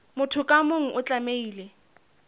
motho ka mong o tlamehile